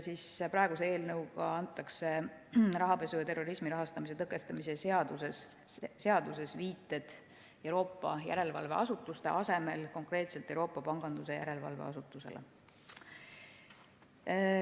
Eelnõuga tehakse rahapesu ja terrorismi rahastamise tõkestamise seaduses viited Euroopa järelevalveasutuste asemel konkreetselt Euroopa Pangandusjärelevalve Asutusele.